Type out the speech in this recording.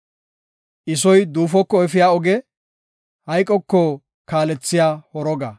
I soy duufoko efiya oge; hayqoko kaalethiya horoga.